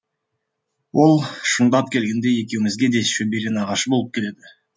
ол шындап келгенде екеумізге де шөбере нағашы болып келеді